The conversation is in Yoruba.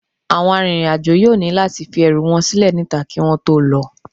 Àwọn arìnrìn-àjò yóò ní láti fi ẹrù wọn sílẹ̀ níta kí wọ́n tó lọ